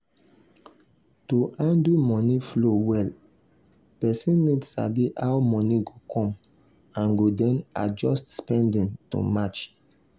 to handle money flow well person need sabi how money go come and go then adjust spending to match.